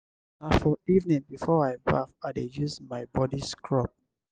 na for evening before i baff i dey use my body scrub.